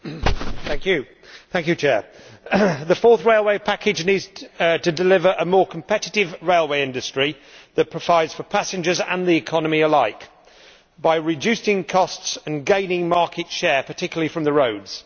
Mr President, the Fourth Railway Package needs to deliver a more competitive railway industry that provides for passengers and the economy alike by reducing costs and gaining market share, particularly from the roads.